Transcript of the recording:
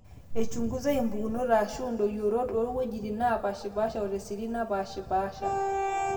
eichungusai mpukunoto aashu endoyioroto toowuejitin neepaashipaashe o tesirit napaashipaasha